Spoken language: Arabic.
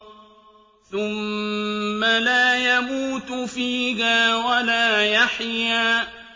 ثُمَّ لَا يَمُوتُ فِيهَا وَلَا يَحْيَىٰ